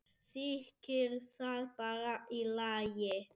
Þykir það bara í lagi.